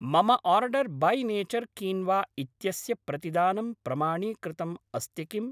मम order by nature quinoa इत्यस्य प्रतिदानं प्रमाणीकृतम् अस्ति किम्?